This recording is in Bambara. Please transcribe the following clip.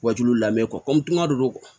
Wa tulu lamɛn kɔmi tunga de don